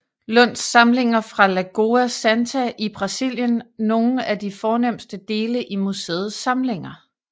Lunds samlinger fra Lagoa Santa i Brasilien nogle af de fornemste dele i museets samlinger